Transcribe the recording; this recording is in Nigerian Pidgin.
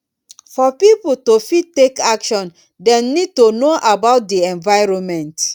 for pipo to fit take action dem need to know about di environment